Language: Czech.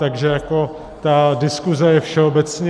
Takže jako ta diskuse je všeobecně...